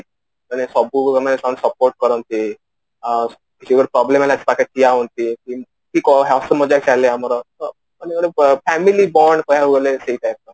ମାନେ ସବୁବେଳେ ମତେ ସେମାନେ support କରନ୍ତି sure problem ହେଲା ତାକି ଠିଆ ହୁଅନ୍ତି ଏମିତି କଣ ହାସ୍ୟ ମଜାକ ଚାଲେ ଆମର ତ ଆମେ ଗୋଟେ family bond ପାଇଁ